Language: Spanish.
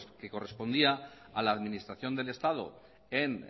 que correspondía a la administración del estado en